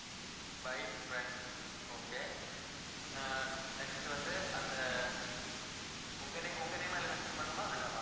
by friends okay ah next வந்து அந்த உங்க ne~ உங்க name அதுல mention பண்ணனுமா வேண்டாமா